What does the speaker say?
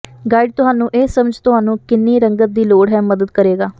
guide ਤੁਹਾਨੂੰ ਇਹ ਸਮਝ ਤੁਹਾਨੂੰ ਕਿੰਨੀ ਰੰਗਤ ਦੀ ਲੋੜ ਹੈ ਮਦਦ ਕਰੇਗਾ